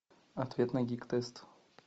ответ на гигтест